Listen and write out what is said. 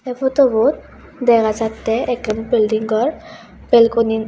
eh photobot dega jatte ekkan bilding gor belkuni.